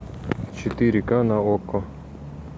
четыре ка на окко